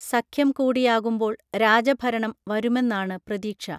സഖ്യം കൂടിയാകുമ്പോൾ രാജഭരണം വരുമെന്നാണ് പ്രതീക്ഷ